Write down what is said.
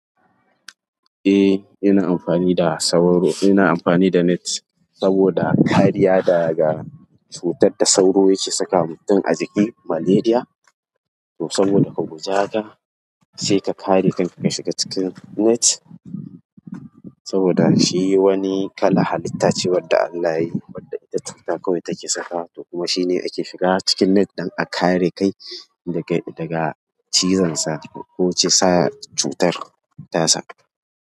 Eh, ina amfani da sauro, ina amfani da net saboda kariya daga cutar da sauro yake saka mutum a jiki, malaria. To saboda ka gujehaka, sai ka kare kan ka shiga cikin net saboda shi wani kala halitta ce wadda Allah yayi, wadda ita cuta kawai take sakawa. To kuma shine ake shiga cikin net don a kare kai daga, daga cizon sa ko cutar tasa.